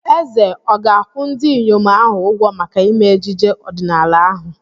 Eze ọ̀ ga-akwụ ndị inyom ahụ ụgwọ maka ime ejije ọdịnaala ahụ?